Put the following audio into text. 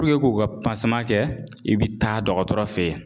k'u ka kɛ i bɛ taa dɔgɔtɔrɔ fɛ yen